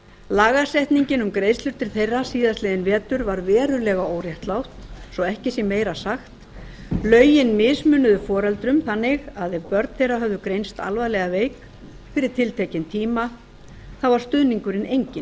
lagasetningin um greiðslur til þeirra síðastliðinn vetur var verulega óréttlát svo ekki sé meira sagt lögin mismunuðu foreldrum þannig að ef börn þeirra höfðu greinst alvarlega veik fyrir tiltekinn tíma var stuðningurinn enginn